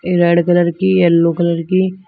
Red colour की yellow colour की।